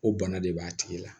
O bana de b'a tigi la